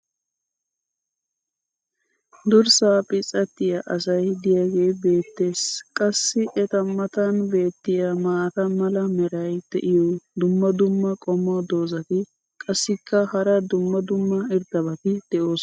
durssaa phits'attiya asay diyaagee beetees. qassi eta matan beetiya maata mala meray diyo dumma dumma qommo dozzati qassikka hara dumma dumma irxxabati doosona.